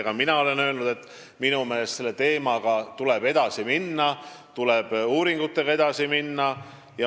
Ka mina olen öelnud, et minu meelest tuleb selle teemaga edasi minna, tuleb uuringutega edasi minna.